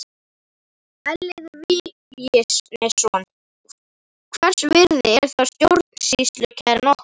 Elliði Vignisson: Hvers virði er þá stjórnsýslukæran okkur?